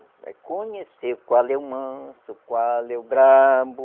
Vai conhecer qual é o manso, qual é o bravo,